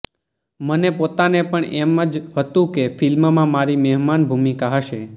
મને પોતાને પણ એમ જ હતું કે ફિલ્મમાં મારી મહેમાન ભૂમિકા હશે